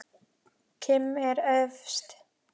Kim er efst.